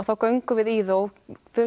þá göngum við í það og